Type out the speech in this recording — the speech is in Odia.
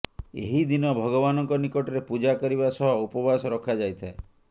ଏହି ଦିନ ଭଗବାନଙ୍କ ନିକଟରେ ପୂଜା କରିବା ସହ ଉପବାସ ରଖାଯାଇଥାଏ